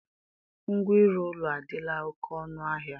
Ngwa ịrụ ụlọ adịla oke ọnụahịa